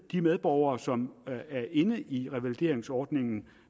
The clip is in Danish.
de medborgere som er inde i revalideringsordningen